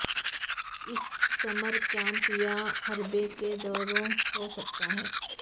اس summer camp یا حربے کے دوروں ہو سکتا ہے